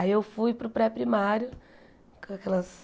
Aí eu fui para o pré-primário, com aquelas...